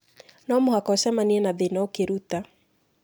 No mũhaka ũcemanie na thĩna ũkĩruta.